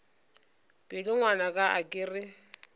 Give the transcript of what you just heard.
pelo ngwanaka a ke re